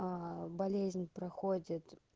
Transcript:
болезнь проходит